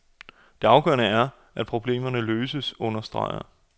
Det afgørende er, at problemerne løses, understreger